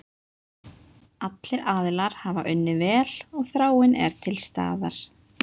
Allir aðilar hafa unnið vel og þráin er til staðar.